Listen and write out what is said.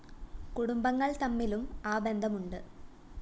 കുടുംബങ്ങള്‍ തമ്മിലും ആ ബന്ധമുണ്ട്